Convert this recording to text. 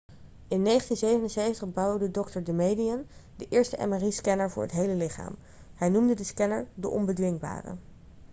in 1977 bouwde dr damadian de eerste mri-scanner voor het hele lichaam' hij noemde de scanner de onbedwingbare'